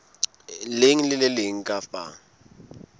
leng le le leng kapa